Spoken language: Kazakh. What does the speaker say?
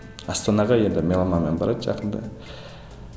астанаға енді меломанмен барады жақында